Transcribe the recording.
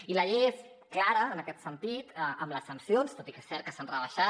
i la llei és clara en aquest sentit amb les sancions tot i que és cert que s’han rebaixat